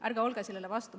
Ärge olge sellele vastu.